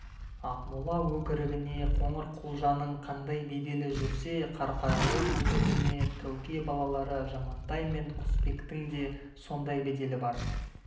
ақмола өкірігіне қоңырқұлжаның қандай беделі жүрсе қарқаралы өкірігіне тәуке балалары жамантай мен құсбектің де сондай беделі бар